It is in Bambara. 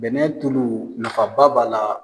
Bɛnɛ tulu nafaba b'a la.